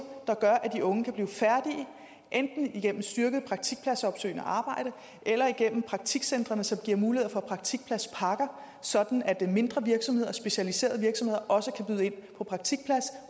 der gør at de unge kan blive færdige enten igennem styrket praktikpladsopsøgende arbejde eller igennem praktikcentrene som giver mulighed for praktikpladspakker sådan at mindre virksomheder og specialiserede virksomheder også kan byde ind en praktikplads